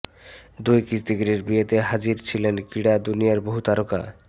দুই কুস্তিগিরের বিয়েতে হাজির ছিলেন ক্রীড়া দুনিয়ার বহু তারকা